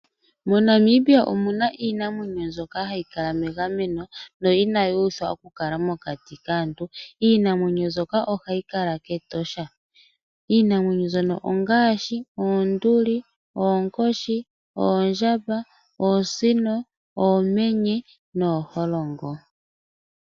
Monamibia omuna iinamwenyo mbyoka hayi kala yili megameno no inayi uthwa okukala mokati kaantu. Iinamwenyo mbyoka ohayi kala Ketosha. Iinamwenyo mbyono ongaashi oonduli, oonkoshi, oondjamba, oosino, oomenye nooholongo